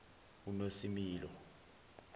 unosimilo